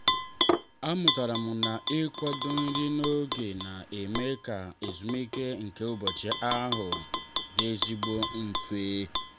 a mụtara m na-ịkwado nri n'oge na-eme ka ezumike nke ụbọchị ahụ dị ezigbo mfe.